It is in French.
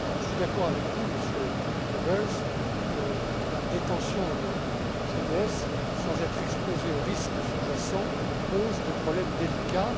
Je suis d'accord avec vous, Monsieur Goebbels la détention de CDS sans être exposé aux risques sous jacents pose des problèmes délicats.